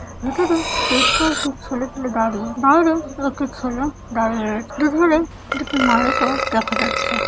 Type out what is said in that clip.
ভিতরে বেশ কয়েকটি ছেলেপেলে দাঁড়িয়েবাইরে একটি ছেলে দাঁড়িয়ে রয়েছেদুপুরে দুটি মালিকও দেখা যাচ্ছে ।